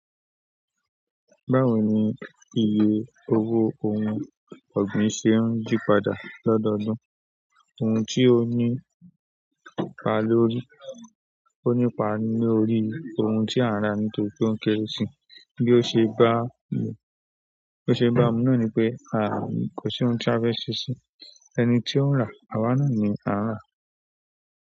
Báwo ni iye owó ohun ọ̀gbìn ṣe ń yípadà lọ́dọọdún? Ohun tí ó nípa lórí, ó nípa lórí ohun tí a n rà nítorí pe o n kéré si, bí ó ṣe bá mi? Bo ṣe ba mi náà ní pé, àri nkan ṣe ko si ohun ti a fẹ ṣe sí, ẹni tí ó ń rà, àwa náà ni a rà.